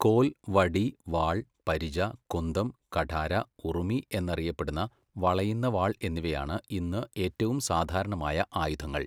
കോൽ, വടി, വാൾ, പരിച, കുന്തം, കഠാര, ഉറുമി എന്നറിയപ്പെടുന്ന വളയുന്ന വാൾ എന്നിവയാണ് ഇന്ന് ഏറ്റവും സാധാരണമായ ആയുധങ്ങൾ.